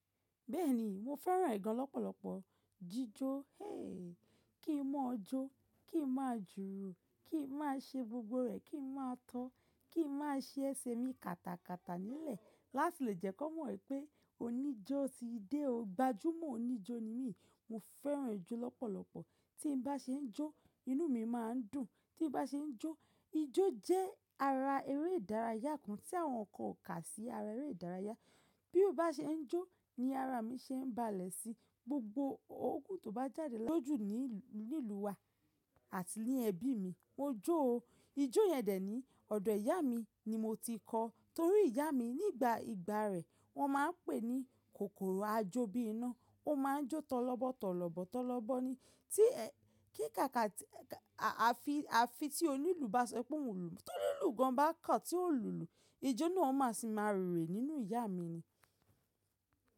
Bẹ́ẹ̀ni, mo fẹ́ràn ẹ̀ gan lọ́pọ̀lọpọ̀. Jíjó, héèkí, kí n mọ̀ ọjọ́, kí n máa jùrù, kí n máa ṣe gbogbo rẹ̀, kí n máa tọ́, kí n máa ṣe ẹsẹ̀ mi kàtàkàtà nílẹ̀. Láti lè jẹ́ kó mọ̀ pé oníjó ti dé o. Gbajúmọ̀ oníjó ni mí. Mo fẹ́ràn ijó lọ́pọ̀lọpọ̀. Tí n bá ṣe ń jó, inú mi máa ń dùn. Tí n bá ṣe ń jó, ijó jẹ́ ara eré ìdárayá kan tí àwọn kan ò kà sí ara eré ìdárayá. Bí ó bá ṣe ń jó ni ara mi ṣe ń balẹ̀ sí gbogbo ogún tó bá jáde lójú ní ìlú wa àti ní ẹbí mi. Mo jó o. Ijó yẹn dè ní ọ̀dọ̀ ìyá mi ni mo ti kọ́, torí ìyá mi nígbà ìgbà rẹ̀ wọ́n máa ń pè ní kòkòrò ajó bí iná. Ó máa ń jó tọ́lọbọ́, tọ́lọbọ́, tọ́lọbọ́ ni. Tí kí ka àfi tí onílù bá sọ pé òun lùú, tó ní lùú gan bá kà tí ó lùlù, ijó náà ó máa sì máa rere nínú ìyá mi ni.